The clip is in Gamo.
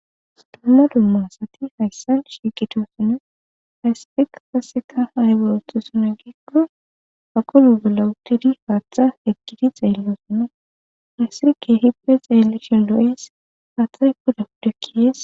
Dumma dumma asati hayssa shiiqitosinne haysspeq kaseka hayborotxusona geekko aqulu belawutidi haaththa ekkidi xeellosonna haysirke hippe xeelle shin lo'es haaththay kuda udekkiyees